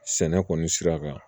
Sɛnɛ kɔni sira kan